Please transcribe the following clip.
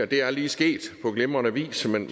det er lige sket på glimrende vis men